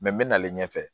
n bɛ nalen ɲɛfɛ